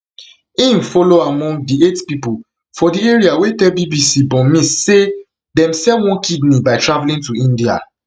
im follow among di eight pipo for di area wey tell bbc burmese say dem sell one kidney by travelling to india